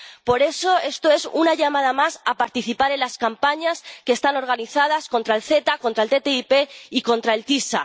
Por eso, esto es una llamada más a participar en las campañas que están organizadas contra el CETA, contra el TTIP y contra el TiSA.